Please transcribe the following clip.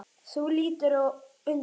Þú lítur undan.